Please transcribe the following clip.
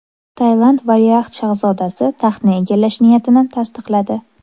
Tailand valiahd shahzodasi taxtni egallash niyatini tasdiqladi.